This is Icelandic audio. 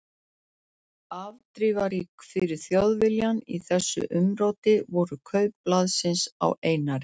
Afdrifarík fyrir Þjóðviljann í þessu umróti voru kaup blaðsins á Einari